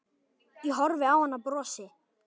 Ég horfi á hann og brosi.